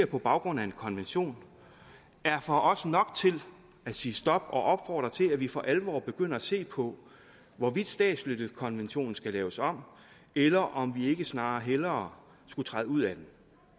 på baggrund af en konvention er for os nok til at sige stop og opfordre til at vi for alvor begynder at se på hvorvidt statsløsekonventionen skal laves om eller om vi ikke snarere skulle træde ud af den